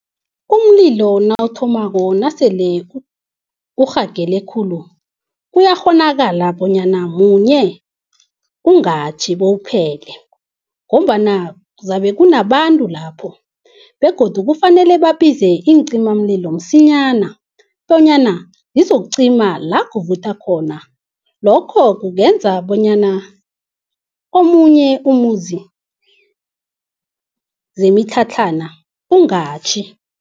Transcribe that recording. Umlilo nawuthomako nasele urhagele khulu kuyakghonakala bonyana munye ungatjhi bowuphele ngombana zabe kunabantu lapho. Begodu kufanele babize iincimamlilo msinyana bonyana zizokucima la kuvutha khona. Lokho kungenza bonyana omunye umuzi, zemitlhatlhana ungatjhi.